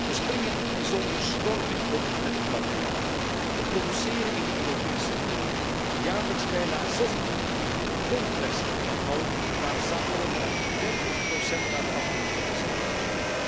We springen bijzonder slordig om met het materiaal we produceren in de Europese Unie jaarlijks bijna 26 miljoen ton plastic afval maar zamelen slechts 30 daarvan in voor recyclage.